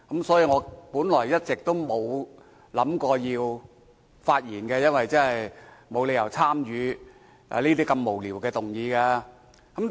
所以，我本來一直沒有打算發言，覺得沒理由要參與如此無聊的議案辯論。